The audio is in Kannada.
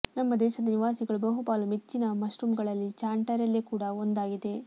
ನಮ್ಮ ದೇಶದ ನಿವಾಸಿಗಳು ಬಹುಪಾಲು ಮೆಚ್ಚಿನ ಮಶ್ರೂಮ್ಗಳಲ್ಲಿ ಚಾಂಟರೆಲ್ಲೆ ಕೂಡ ಒಂದಾಗಿದೆ